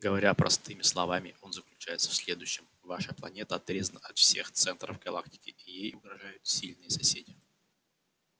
говоря простыми словами он заключается в следующем ваша планета отрезана от всех центров галактики и ей угрожают сильные соседи